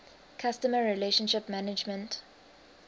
customer relationship management